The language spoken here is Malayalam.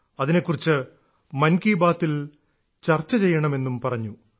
അതിനെക്കുറിച്ച് മൻ കി ബാത്തിൽ ചർച്ച ചെയ്യണമെന്നും പറഞ്ഞു